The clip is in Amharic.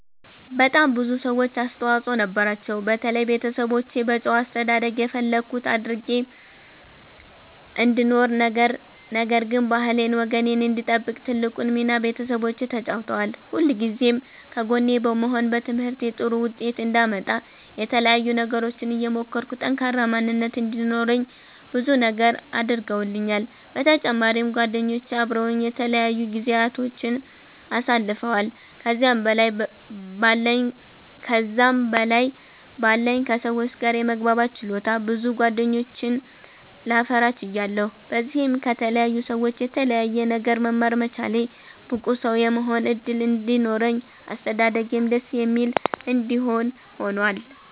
በጣም ብዙ ሰዎች አስተዋፅኦ ነበራቸዉ። በተለይ ቤተሰቦቼ በጨዋ አስተዳደግ የፈለኩት አድርጌ እንድኖር ነገር ግን ባህሌን ወጌን እንድጠብቅ ትልቁን ሚና ቤተሰቦቼ ተጫዉተዋል። ሁልጊዜም ከጎኔ በመሆን በትምህርቴ ጥሩ ዉጤት አንዳመጣ የተለያዩ ነገሮችን እየሞከርኩ ጠንካራ ማንነት እንዲኖረኝ ብዙ ነገር አድርገዉልኛል። በተጫማሪም ጓደኞቼ አበረዉኝ የተለያዩ ጊዚያቶችን አሳልፈዋል። ከዛም በላይ በለኝ ከ ሰዎች ጋር የመግባባት ችሎታ ብዙ ጌደኞችን ላፈራ ችያለሁ። በዚህም ከተለያዩ ሰዎች የተለያየ ነገር መማር መቻሌ ብቁ ሰዉ የመሆን እድል እንዲኖረኝ አስተዳደጌም ደስ የሚል እንዲሆን ሁኗል።